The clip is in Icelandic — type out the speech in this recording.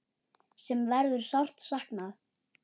Sem verður sárt saknað.